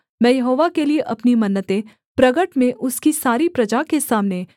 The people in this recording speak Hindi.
मैं यहोवा के लिये अपनी मन्नतें प्रगट में उसकी सारी प्रजा के सामने